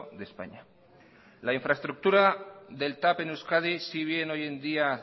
de españa la infraestructura del tav en euskadi si bien hoy en día